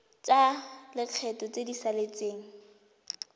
tsa lekgetho tse di saletseng